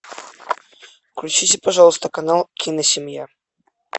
включите пожалуйста канал киносемья